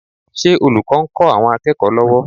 Ṣé olùkọ́ ń kọ́ àwọn akẹ́kọ̀ọ́ lọ́wọ́?